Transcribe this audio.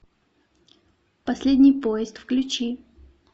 последний поезд включи